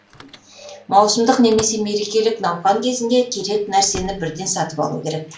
маусымдық немесе мерекелік науқан кезінде керек нәрсені бірден сатып алу керек